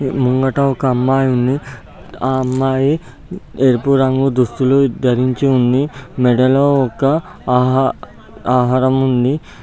ముంగట ఒక అమ్మయి ఉంది అ అమ్మాయి ఎరుపు రంగు దుస్తులు ధరించి ఉంది మెడలో ఒక అహ-ఆహారము ఉంది.